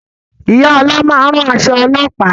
Ìyá ọlá máa ń rán aṣọ ọlọ́pàá